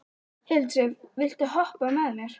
Hildisif, viltu hoppa með mér?